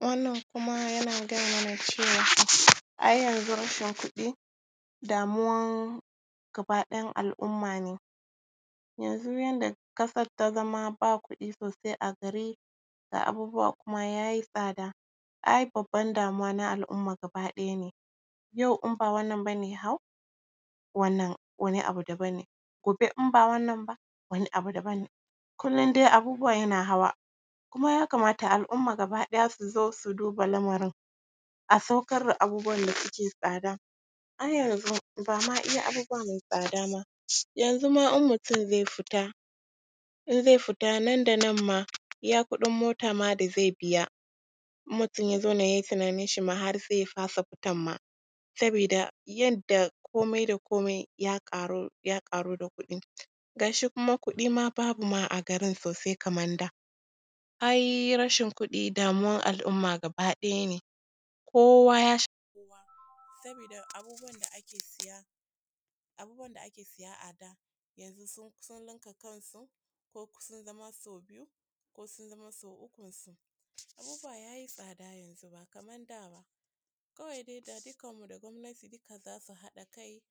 Wannan kuma yana gaya mana cewa, ai yanzu rashin kuɗi damuwan gaba ɗayan al’umma ne. Yanzu yadda ƙasar ta zama, ba kuɗi sosai a gari, ga abubuwa kuma ya yi tsada, ai babban damuwa na al’umma gaba ɗaya ne, yau in ba wannan ba ne ya hau, wannan wani abu daban ne, gobe in ba wannan ba, wani abu daban ne, kullum dai abubuwa yana hawa. Kuma ya kamata al’umma gaba ɗaya su zo, su duba lamarin, a saukar da abubuwan da suke tsada. Ai yanzu ba ma iya abubuwa mai tsada ba, yanzu ma in mutum zai fita, in zai fita nan da nan ma, iya kuɗin ota ma da zai biya, in mutum ya zauna, ya yi tunaninshi ma, har sai ya fasa fitan ma, sabida yadda komi da komi ya ƙaru, ya ƙaru da kuɗin. Ga shi kuma kuɗi ma babu ma a gari sosai kaman da. Ai rashin kuɗi, damuwan al’umma gaba ɗaya ne, kowa ya shafi kowa, sabida abubuwan da ake siya, abubuwan da ake siya a da yanzu sun kusa ninka kansu, ko sun zama sau biyu ko sun zama sau ukunsu. Abubuwa ya yi tsada yanzu, ba kaman da ba, kawai dai da dukanmu da gwamnati za su haɗa kai,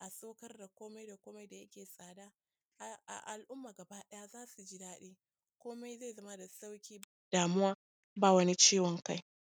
a saukar da komai da komai da yake tsada, ai al’umma gaba ɗaya za su ji daɗi, komai zai zama da sauƙi, damuwa ba wani ciwon kai.